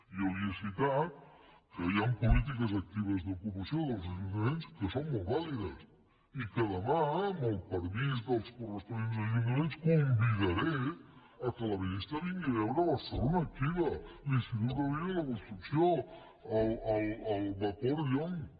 jo li he citat que hi ha polítiques actives d’ocupació dels ajuntaments que són molt vàlides i que demà amb el permís dels corresponents ajuntaments convidaré que la ministra vingui a veure barcelona activa l’institut gaudí de la construcció el vapor llonch